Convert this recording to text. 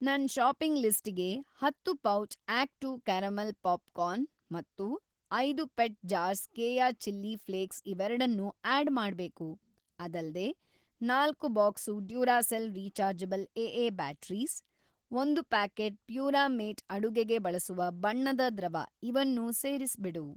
ನನ್‌ ಷಾಪಿಂಗ್‌ ಲಿಸ್ಟಿಗೆ ಹತ್ತು pouch Act two caramel popcorn ಮತ್ತು ಐದು ಪೆಟ್‌ ಜಾರ್ಸ್ ಕೇಯ ಚಿಲ್ಲಿ ಫ಼್ಲೇಕ್ಸ್ ಇವೆರಡನ್ನೂ ಆಡ್‌ ಮಾಡ್ಬೇಕು. ಅದಲ್ದೇ, ನಾಲ್ಕು box Duracell rechargeable AA batteries, ಒಂದು ಪ್ಯಾಕೆಟ್ ಪ್ಯೂರಾಮೇಟ್ ಅಡುಗೆಗೆ ಬಳಸುವ ಬಣ್ಣದ ದ್ರವ ಇವನ್ನೂ ಸೇರಿಸ್ಬಿಡು.